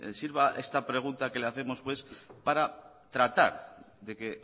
sirva esta pregunta que le hacemos pues para tratar de que